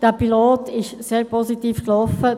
Dieser Pilot ist sehr positiv gelaufen.